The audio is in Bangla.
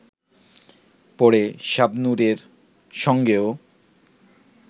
পরে শাবনুরের সঙ্গেও